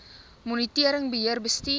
monitering beheer bestuur